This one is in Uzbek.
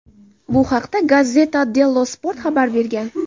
Bu haqda "Gazzetta Dello Sport" xabar bergan.